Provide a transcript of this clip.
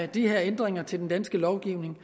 de her ændringer til den danske lovgivning